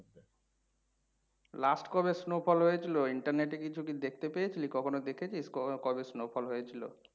Last কবে snowfall হয়েছিল internet এ কখন ও কি কিছু দেখতে পেয়েছিলি, কখন ও দেখেছিস ক কবে snowfall হয়েছিল?